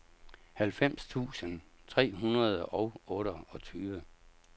halvfems tusind tre hundrede og otteogtyve